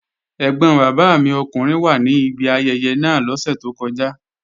Ẹ́gbọn bàbá mi ọkùnrin wà ní ibi ayẹyẹ náà lọ́sẹ̀ tó kọjá